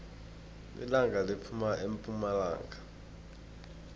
ilanga liphuma epumalanga